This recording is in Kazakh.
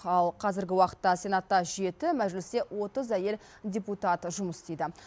ал қазіргі уақытта сенатта жеті мәжілісте отыз әйел депутат жұмыс істейді